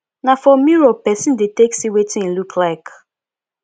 na for mirror persin de take see wetin im look like